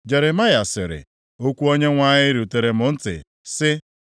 Jeremaya sịrị, “Okwu Onyenwe anyị rutere m ntị, sị,